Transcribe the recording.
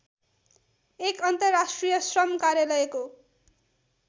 १ अन्तर्राष्ट्रिय श्रम कार्यालयको